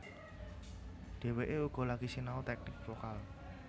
Dheweké uga lagi sinau teknik vokal